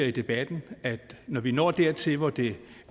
i debatten at når vi når dertil hvor det